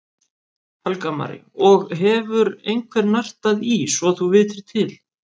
Helga María: Og hefur einhver nartað í svo þú vitir til?